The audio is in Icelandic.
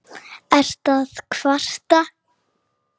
Ertu að kvarta?